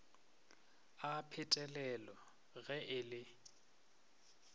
a phetelelo ge e le